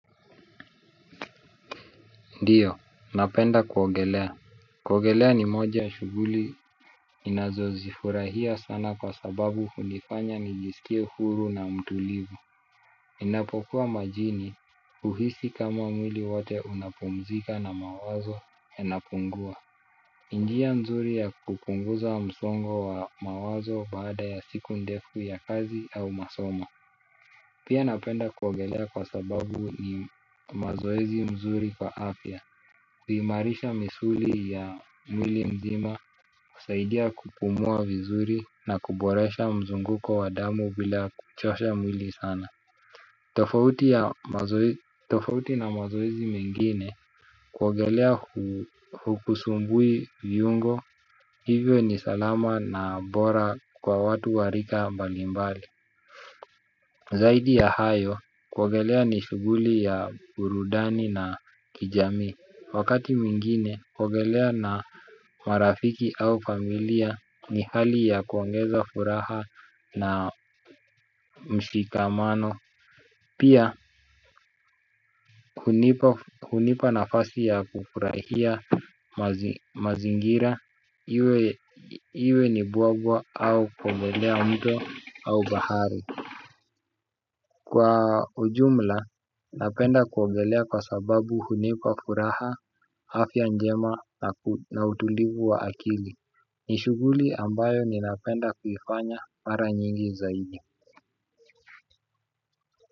Ndiyo, napenda kuwogelea. Kuogelea ni moja ya shuguli ninazo zifurahia sana kwa sababu unifanya nijisikia huru na mtulivu ninapokuwa majini uhisi kama mwili wote unapumzika na mawazo enapungua. Ni ndia mzuri ya kupunguza msongo wa mawazo baada ya siku ndefu ya kazi au masoma. Pia napenda kuogelea kwa sababu ni mazoezi mzuri kwa afya. Kuhimarisha misuli ya mwili mzima, kusaidia kupumua vizuri na kuboresha mzunguko wa damu vila kuchosha mwili sana. Tofauti na mazoezi mengine, kuogelea hukusumbui viungo, hivyo ni salama na bora kwa watu warika mbalimbali. Zaidi ya hayo, kuogelea ni shuguli ya burudani na kijamii. Wakati mwingine kuogelea na marafiki au familia ni hali ya kuongeza furaha na mshikamano. Pia hunipa nafasi ya kufurahia mazingira iwe ni buabwa au kuogelea mto au bahari. Kwa ujumla napenda kuogelea kwa sababu hunipa furaha hafya njema na utulivu wa akili ni shguli ambayo ninapenda kuifanya mara nyingi zaidi.